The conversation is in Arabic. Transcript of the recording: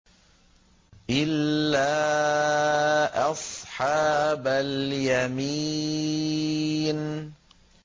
إِلَّا أَصْحَابَ الْيَمِينِ